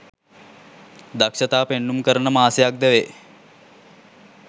දක්‍ෂතා පෙන්නුම් කරන මාසයක් ද වේ.